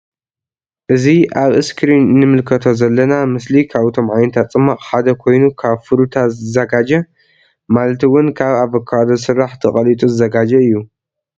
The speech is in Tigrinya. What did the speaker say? እዚ አብ እስክሪን እንምልከኦ ዘለና ምስል ካብቶም ዓነታት ፅማቅ ሓደ ኮይኑ ካብ ፍሩታ ዝዘጋጆ ማለት እውን ካብ አቮካዶ ዝስራሕ ተቀሊጡ ዝዘጋጆ እዩ::